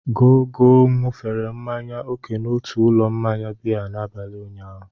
Gogo ṅụfere mmanya oke n'otu ụlọ mmanya biya n'abalị ụnyaahụ.